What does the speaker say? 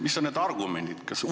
Mis oleks need argumendid?